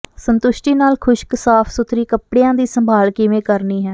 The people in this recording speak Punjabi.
ਸੰਤੁਸ਼ਟੀ ਨਾਲ ਖੁਸ਼ਕ ਸਾਫ ਸੁਥਰੀ ਕੱਪੜਿਆਂ ਦੀ ਸੰਭਾਲ ਕਿਵੇਂ ਕਰਨੀ ਹੈ